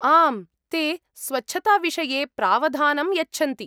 आम्, ते स्वच्छताविषये प्रावधानं यच्छन्ति।